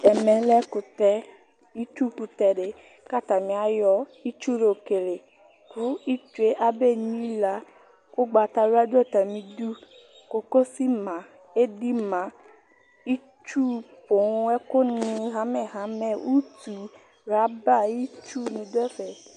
Ɛmɛlɛ ɛkʋtɛ Itsu kutɛ ɖi kʋatani ayɔ itsu yɔkele kʋ itsue abenyila Ugbatawla ɖu atamiɖʋ Kokotsu ma, editsu ma, itsu poo